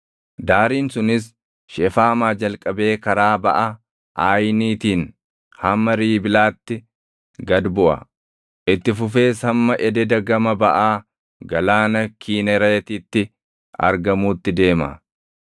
Daariin sunis Shefaamaa jalqabee karaa baʼa Aayiniitiin hamma Riibilaatti gad buʼa; itti fufees hamma ededa gama baʼaa Galaana Kinereetitti argamuutti deema.